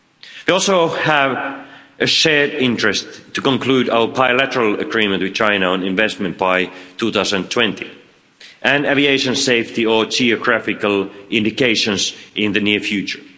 We also have a shared interest to conclude our bilateral agreement with China on investment by 2020, and aviation safety or geographical indications in the near future.